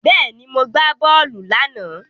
Bẹ́ẹ̀ni, mo gbá bọ́ọ̀lù láàná.